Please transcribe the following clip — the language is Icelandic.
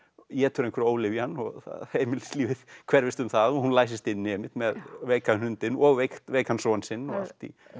étur einhverja ólyfjan og heimilislífið hverfist um það og hún læsist inni með veikan hundinn og veikan veikan son sinn og